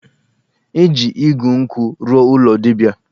E ji igu nkwụ rụọ ụlọ dibia